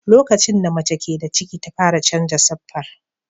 Lokacin da mace ke da ciki ta fara canza siffar.